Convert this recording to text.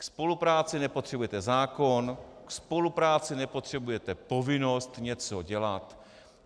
Ke spolupráci nepotřebujete zákon, ke spolupráci nepotřebujete povinnost něco dělat.